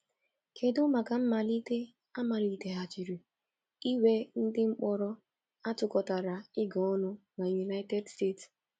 Kedụ maka mmalite a maliteghachiri inwe ndị mkpọrọ a tụkọtara ịga ọnụ na United States?